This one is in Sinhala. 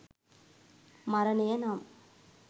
මරණය නම්